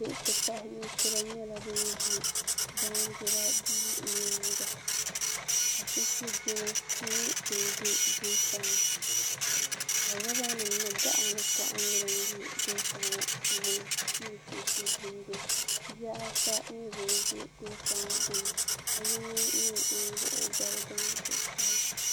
bihi ti pahi nɛkura nyɛla ban ʒɛya ka shɛn shɛnina bɛ kotani ka robani mini gaɣ' nyɛ dini bɛ gota puuni ni shɛn shɛbindi bihi ata nyɛ bɛni ʒɛ gota ŋɔ puuni ka yino nyɛ ŋɔ wuɣ' o gbali gaŋ zuɣ saa